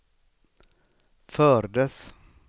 fördes